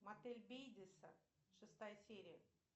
мотель бейдеса шестая серия